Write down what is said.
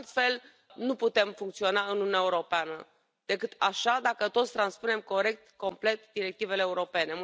Altfel nu putem funcționa în Uniunea Europeană, decât așa, dacă toți transpunem corect, complet directivele europene.